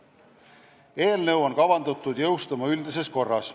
Eelnõus esitatud muudatused on kavandatud jõustuma üldises korras.